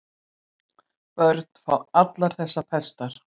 Börn fá allar þessar pestar.